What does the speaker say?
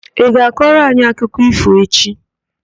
Ị ga-akọrọ anyị akụkọ ífò echi?